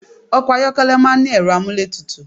Ọkọ̀ ayọ́kẹ́lẹ̀ máà ń ní ẹ̀rọ amúlétutù